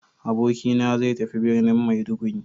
Abokina zai tafi birnin Maiduguri.